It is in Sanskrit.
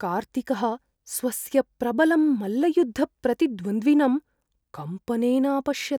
कार्तिकः स्वस्य प्रबलं मल्लयुद्धप्रतिद्वन्द्विनम् कम्पनेन अपश्यत्।